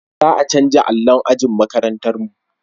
Za a canja allon ajin makarantar mu